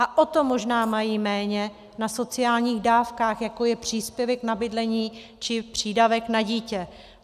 A o to možná méně mají na sociálních dávkách, jako je příspěvek na bydlení či přídavek na dítě.